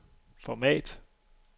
format